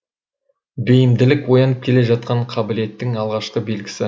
бейімділік оянып келе жатқан қабілеттің алғашқы белгісі